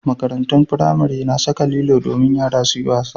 Makarantun firamare na saka lilo domin yara su yi wasa.